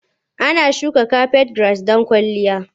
Ana shuka kafet giras don kwalliya.